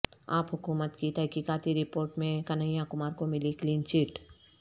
عاپ حکومت کی تحقیقاتی رپورٹ میں کنہیا کمار کو ملی کلین چٹ